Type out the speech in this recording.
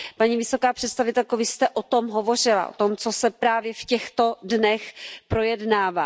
Paní vysoká představitelko, Vy jste o tom hovořila, o tom, co se právě v těchto dnech projednává.